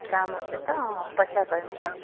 କାମ ଅଛେ ତ ପଛରେ କରିବ ହଁ